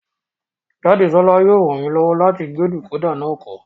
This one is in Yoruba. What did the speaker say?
Jadesola yóò ràn mí lọ́wọ́ láti gbé dìkódà náà kọ́